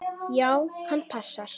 Já, hann passar.